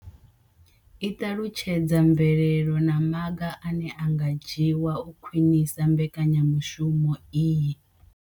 I ṱalutshedza mvelelo na maga ane a nga dzhiwa u khwinisa mbekanyamushumo iyi.